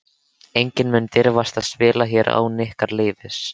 Enginn mun dirfast að spila hér án ykkar leyfis.